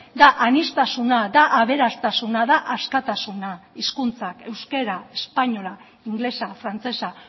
da aniztasuna da aberastasuna da askatasuna hizkuntzak euskara espainola ingelesa frantsesa